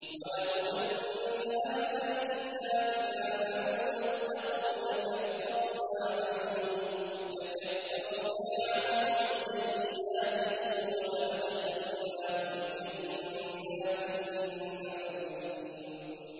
وَلَوْ أَنَّ أَهْلَ الْكِتَابِ آمَنُوا وَاتَّقَوْا لَكَفَّرْنَا عَنْهُمْ سَيِّئَاتِهِمْ وَلَأَدْخَلْنَاهُمْ جَنَّاتِ النَّعِيمِ